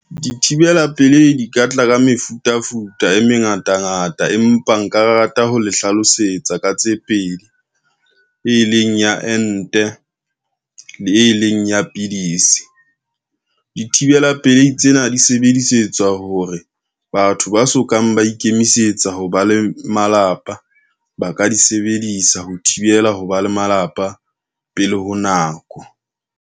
Dithibela pelei di ka tla ka mefutafuta e mengatangata, empa nka rata ho le hlalosetsa ka tse pedi. E leng ya ente le e leng ya pidisi, dithibela pelehi tsena di sebedisetswa hore, batho ba sokang ba ikemisetsa ho ba le malapa ba ka di sebedisa ho thibela ho ba le malapa pele ho nako.